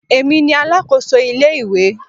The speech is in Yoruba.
Èmi ni alákòso ilé ìwé.